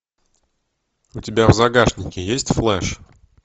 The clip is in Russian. у тебя в загашнике есть флэш